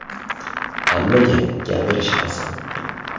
Hammaga gapirish oson.